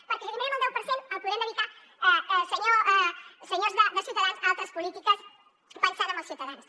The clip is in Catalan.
perquè si n’eliminem el deu per cent el podrem dedicar senyors de ciutadans a altres polítiques pensant en els ciutadans